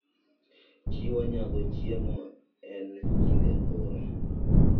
Chiwo nyago chiemo e kinde oro